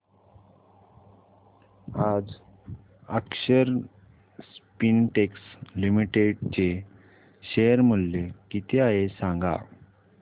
आज Akshar Spintex Limited चे share मूल्य किती आहे सांगा